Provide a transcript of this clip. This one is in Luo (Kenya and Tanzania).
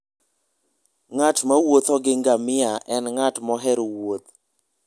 Ng'at mowuotho gi ngamia en ng'at mohero wuoth.